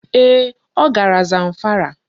Ee, ọ gara Zamfara.